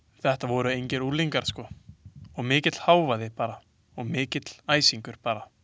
Þetta voru engir unglingar sko og mikill hávaði bara og mikill æsingur bara.